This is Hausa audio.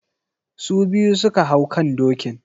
Su biyu su ka hau kan dokin.